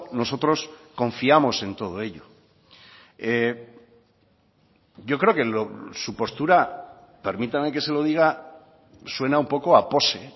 nosotros confiamos en todo ello yo creo que su postura permítame que se lo diga suena un poco a pose